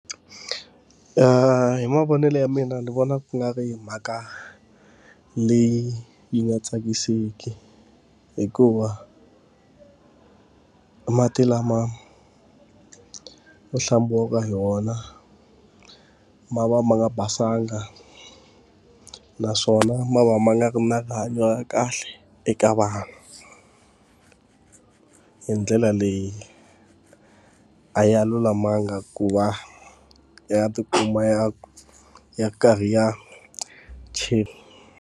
hi mavonelo ya mina ni vona ku nga ri mhaka leyi yi nga tsakisiki, hikuva mati lama ma hlambiwaka ha wona, ma va ma nga basanga. Naswona ma va ma nga ri na rihanyo ra kahle eka vanhu. Hi ndlela leyi a ya lulamanga ku va ya ti kuma ya ya karhi ya .